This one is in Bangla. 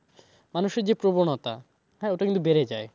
মানুষের যে প্রবণতা হ্যাঁ ওটা কিন্তু বেড়ে যায়